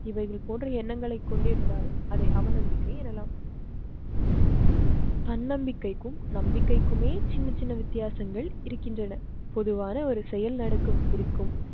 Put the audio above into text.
இவைகள் போன்ற எண்ணங்களை கொண்டிருந்தால் அதை அவநம்பிக்கை எண்ணலாம். தன்னம்பிக்கைக்கும் நம்பிக்கக்குமே சின்ன சின்ன வித்தியாசங்கள் இருக்கின்றன. பொதுவான ஒரு செயல் நடக்கும் இருக்கும்